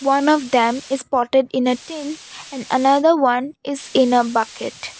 one of them is potted in a tin and another one is in a bucket.